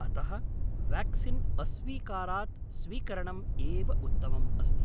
अतः वेक्सीन् अस्वीकारात् स्वीकरणम् एव उत्तमम् अस्ति।